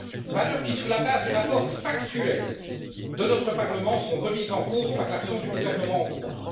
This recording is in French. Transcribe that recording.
Valeurs qui, sur la base du rapport factuel de notre Parlement, sont remises en cause par l'action du gouvernement hongrois.